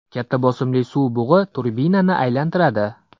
Katta bosimli suv bug‘i turbinani aylantiradi.